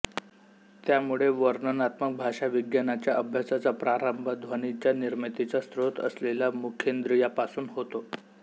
त्यामुळे वर्णनात्मक भाषाविज्ञानाच्या अभ्यासाचा प्रारंभ ध्वनींच्या निर्मितीचा स्रोत असलेल्या मुखेंद्रियापासून होतो